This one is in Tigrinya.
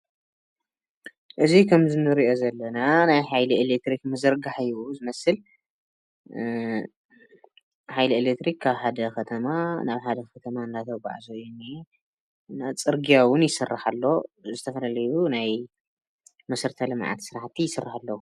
እዚ ከምዚ ንሪኦ ዘለና ናይ ሓይሊ ኤሌክትሪክ ምዝርጋሕ እዩ ዝመስል። ሓይሊ ኤሌክትሪክ ካብ ሓደ ከተማ ናብ ካሊእ ከተማ እናተጉዓዘ እዩ ዝኒኤ። ፅርግያ እዉን ይስራሕ ኣሎ። ዝተፈላለዩ ናይ መሰረታዊ ልምዓት ስራሕቲ ይስርሑ ኣልዉ።